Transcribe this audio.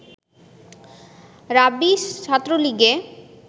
রাবি ছাত্রলীগে